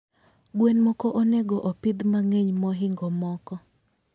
gwen moko onego opidh mangeny mahingo moko